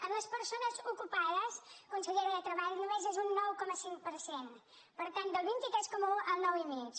en les persones ocupades consellera de treball només és un nou coma cinc per cent per tant del vint tres coma un al nou i mig